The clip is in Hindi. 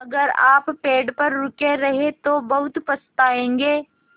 अगर आप पेड़ पर रुके रहे तो बहुत पछताएँगे